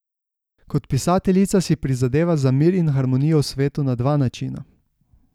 Kot pisateljica si prizadeva za mir in harmonijo v svetu na dva načina.